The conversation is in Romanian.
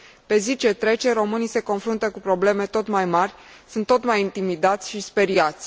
Pe zi ce trece, românii se confruntă cu probleme tot mai mari, sunt tot mai intimidați și speriați.